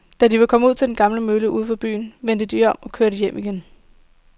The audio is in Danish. Da de var kommet ud til den gamle mølle uden for byen, vendte de om og kørte hjem igen.